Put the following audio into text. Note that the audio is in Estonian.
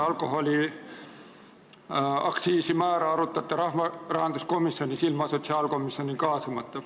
Alkoholiaktsiisi määrasid te arutate rahanduskomisjonis ilma sotsiaalkomisjoni kaasamata.